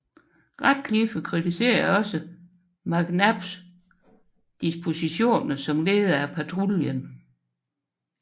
Radcliffe kritiserer også McNabs dispositioner som leder af patruljen